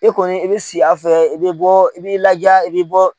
E kɔni i bɛ si a fɛ yen, i bɛ bɔ, i b'i laja, i bɛ bɔ